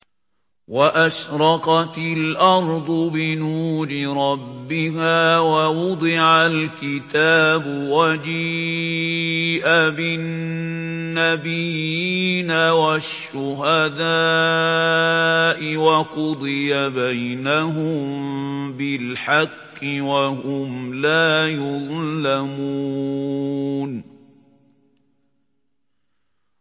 وَأَشْرَقَتِ الْأَرْضُ بِنُورِ رَبِّهَا وَوُضِعَ الْكِتَابُ وَجِيءَ بِالنَّبِيِّينَ وَالشُّهَدَاءِ وَقُضِيَ بَيْنَهُم بِالْحَقِّ وَهُمْ لَا يُظْلَمُونَ